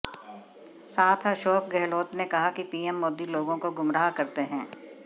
साथ अशोक गहलोत ने कहा कि पीएम मोदी लोगों को गुमराह करते हैं